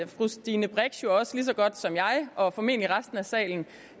stine brix jo også lige så godt som jeg og formentlig resten af salen